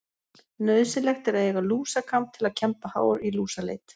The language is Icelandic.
Nauðsynlegt er að eiga lúsakamb til að kemba hár í lúsaleit.